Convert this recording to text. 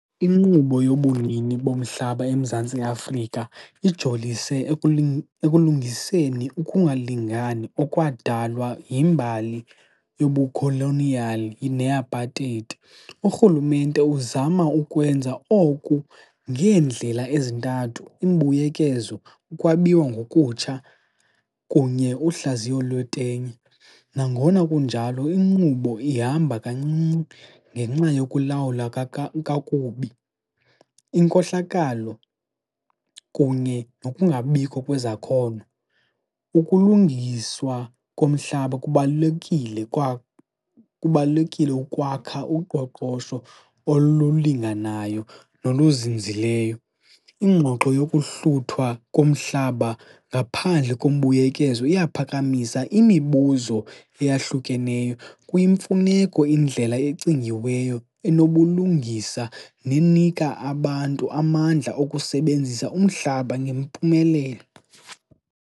Inkqubo yobunini bomhlaba eMzantsi Afrika ijolise ekulungiseni ukungalingani okwadalwa yimbali yobukholoniyali neApartheid. Urhulumente uzama ukwenza oku ngeendlela ezintathu, imbuyekezo, ukwabiwa ngokutsha kunye uhlaziyo lwetenye. Nangona kunjalo, inkqubo ihamba kancinci ngenxa yokulawula kakubi, inkohlakalo kunye nokungabikho kwezakhono. Ukulungiswa komhlaba kubalulekile kubalulekile ukwakha uqoqosho olulinganayo noluzinzileyo. Ingxoxo yokuhluthwa komhlaba ngaphandle kombuyekezo iyaphakamisa imibuzo eyahlukeneyo. Kuyimfuneko indlela ecingiweyo enobulungisa nenika abantu amandla okusebenzisa umhlaba ngempumelelo.